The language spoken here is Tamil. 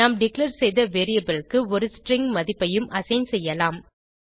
நாம் டிக்ளேர் செய்த வேரியபிள் க்கு ஒரு ஸ்ட்ரிங் மதிப்பையும் அசைன் செய்யலாம்